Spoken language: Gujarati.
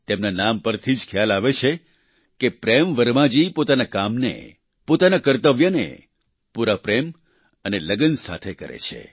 તેમના નામ પરથી જ ખ્યાલ આવે છે કે પ્રેમ વર્મા જી પોતાના કામને પોતાના કર્તવ્યને પૂરા પ્રેમ અને લગન સાથે કરે છે